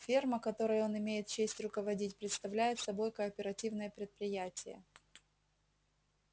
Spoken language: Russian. ферма которой он имеет честь руководить представляет собой кооперативное предприятие